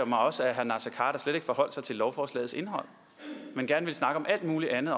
mig også at herre naser khader slet ikke forholdt sig til lovforslagets indhold men gerne ville snakke om alt muligt andet